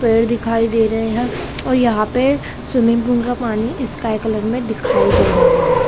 पेड़ दिखाई दे रहे है और यहाँ पर स्विमिंग पूल का पानी स्काई कलर में दिखाई दे रहा है।